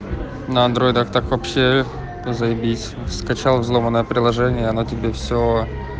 на андроидах так вообще заибись скачал взломанное приложение оно тебе всё